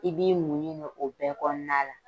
I b'i munɲu o bɛɛ kɔnɔna na